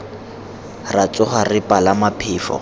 ra tsoga re palama phefo